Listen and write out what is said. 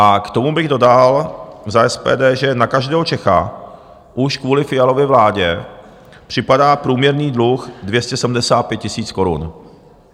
A k tomu bych dodal za SPD, že na každého Čecha už kvůli Fialově vládě připadá průměrný dluh 275 000 korun.